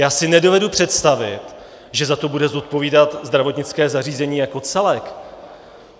Já si nedovedu představit, že za to bude zodpovídat zdravotnické zařízení jako celek.